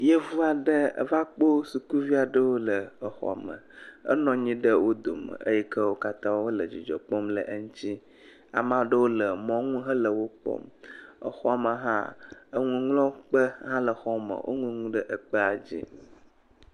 Yevu aɖe eva kpo sukuvi aɖewo le exɔ me. Enɔ nyi ɖe wo dome eyi ke wo katã wo le dzidzɔ kpɔm le eŋtsi. Ame aɖewo le mɔnu hele wo kpɔm. Exɔ me hã eŋuŋlɔkpe hã le xɔ me. Woŋlɔ nu ɖe ekpea dzi.